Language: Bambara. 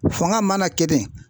Fanga mana kɛ ten